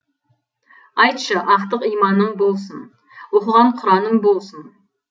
айтшы ақтық иманым болсын оқыған құраның болсын